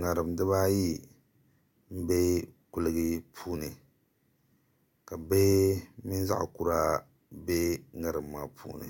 ŋarim dibaayi n bɛ kuligi puuni ka bihi mini zaŋ kura bɛ ŋarim maa puuni